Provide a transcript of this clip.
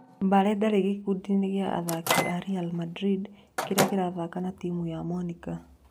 Mbale ndarĩ gĩkundi-inĩ kĩa athaki a Ri Mandrinda kĩrĩa kĩrathaka na timu ya Monika.